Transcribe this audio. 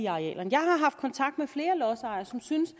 arealerne jeg har haft kontakt med flere lodsejere som synes